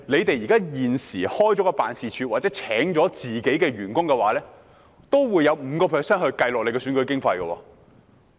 大家現時開設辦事處或聘請員工的支出的 5% 須計算在選舉經費內。